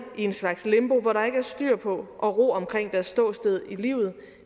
i en slags limbo hvor der ikke er styr på og ro omkring deres ståsted i livet